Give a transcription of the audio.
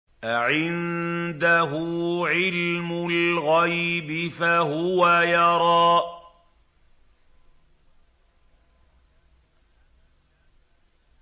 أَعِندَهُ عِلْمُ الْغَيْبِ فَهُوَ يَرَىٰ